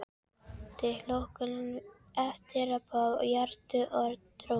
Tilhlökkunin eftir að það yrðu orð, rödd.